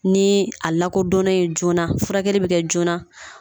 Ni a lakodɔn yen joona, furakɛli bɛ kɛ joona.